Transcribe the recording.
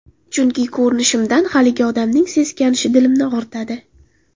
Chunki ko‘rinishimdan haligi odamning seskanishi dilimni og‘ritadi.